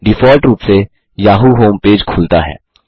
default रूप से Yahoo home page खुलता है